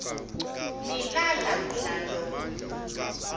nilala mdlalomn l